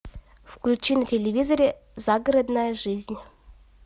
включи на телевизоре загородная жизнь